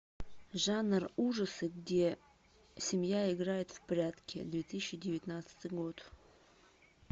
жанр ужасы где семья играет в прятки две тысячи девятнадцатый год